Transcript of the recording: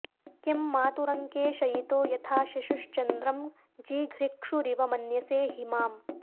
किं मातुरङ्के शयितो यथा शिशुश्चन्द्रं जिघृक्षुरिव मन्यसे हि माम्